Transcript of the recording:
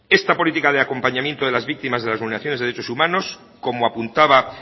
esta política de acompañamiento de las víctimas de las vulneraciones de derechos humanos como apuntaba